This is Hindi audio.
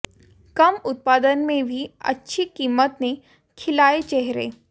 कम उत्पादन में भी अच्छी कीमत ने खिलाए चेहरे